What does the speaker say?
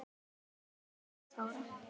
Þín, Margrét Þóra.